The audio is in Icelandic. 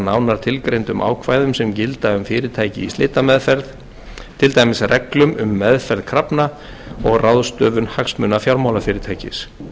nánar tilgreindum ákvæðum sem gilda um fyrirtæki í slitameðferð til dæmis reglum um meðferð krafna og ráðstöfun hagsmuna fjármálafyrirtækis